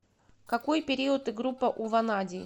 какой период и группа у ванадий